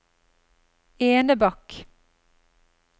Enebakk